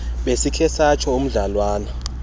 besikhe satsho umdlalwana